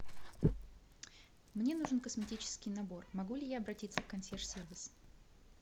мне нужен косметический набор могу ли я обратиться в консьерж сервис